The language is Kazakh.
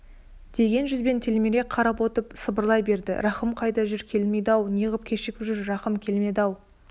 деген жүзбен телміре қарап отыр сыбырлай берді рахым қайда жүр келмеді-ау неғып кешігіп жүр рахым келмеді-ау